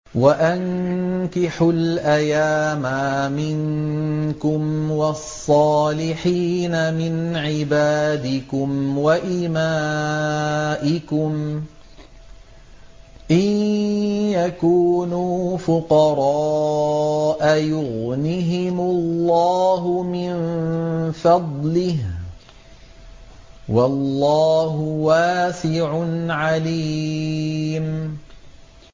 وَأَنكِحُوا الْأَيَامَىٰ مِنكُمْ وَالصَّالِحِينَ مِنْ عِبَادِكُمْ وَإِمَائِكُمْ ۚ إِن يَكُونُوا فُقَرَاءَ يُغْنِهِمُ اللَّهُ مِن فَضْلِهِ ۗ وَاللَّهُ وَاسِعٌ عَلِيمٌ